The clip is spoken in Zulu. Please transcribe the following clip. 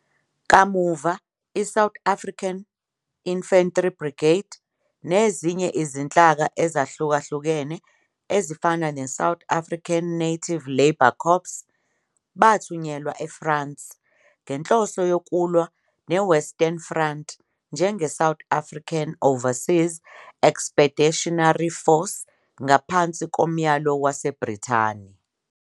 Kamuva, iSouth African Infantry Brigade, nezinye izinhlaka ezahlukahlukene ezifana neSouth African Native Labour Corps, bathunyelwa eFrance ngenhloso yokulwa neWestern Front njengeSouth African Overseas Expeditionary Force ngaphansi komyalo waseBrithani.